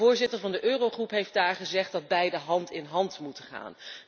De voorzitter van de eurogroep heeft in dit verband gezegd dat beide hand in hand moeten gaan.